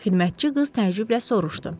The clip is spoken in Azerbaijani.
Xidmətçi qız təəccüblə soruşdu.